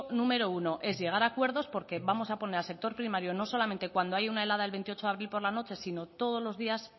número uno es llegar a acuerdos porque vamos a poner al sector primario no solamente cuando hay una helada el veintiocho de abril por la noche sino todos los días